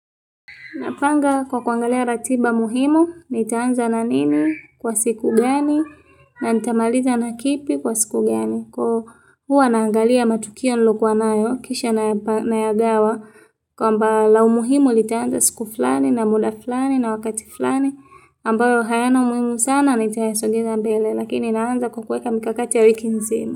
Napanga kwa kuagalia ratiba muhimu, nitaanza na nini?, kwa siku gani?, na nitamaliza na kipi?, kwa siku gani?. Hu, huwa naangalia matukio nilokuwanayo, kisha nayapa nayagawa, kwamba la umuhimu, litaanza siku fulani, na muda fulani, na wakati fulani, ambayo hayana umuhimu sana, nitayasogeza mbele, lakini naanza kwa kuweka mikakati ya wiki nzima.